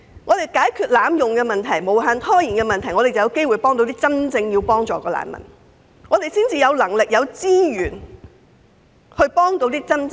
只有解決濫用機制及無限拖延的問題，才有機會幫助真正需要協助的難民，才有能力及資源為他們提供支援。